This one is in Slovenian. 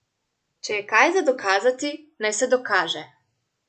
Če je kaj za dokazati, naj se dokaže!